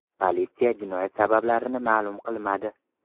Politsiya jinoyat sabablarini ma’lum qilmadi.